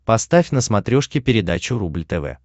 поставь на смотрешке передачу рубль тв